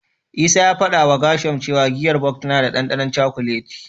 Isaiah ya fadawa Gershom cewa giyar Bok tana da dandanon cakuleti.